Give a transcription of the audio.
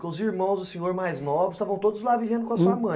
Porque os irmãos do senhor mais novos estavam todos lá vivendo com a sua mãe